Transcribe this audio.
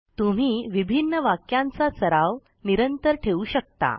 तुम्ही विभिन्न वाक्यांचा सराव निरंतर ठेवू शकता